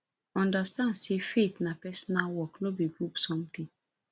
understand say faith na personal work no be group something